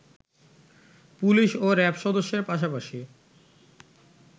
police ও RAB সদস্যের পাশাপাশি